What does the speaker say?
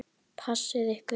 Passið ykkur.